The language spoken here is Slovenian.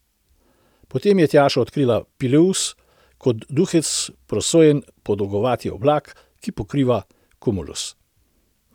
Potem pa je Tjaša odkrila pileus, kot duhec prosojen podolgovati oblak, ki pokriva kumulus.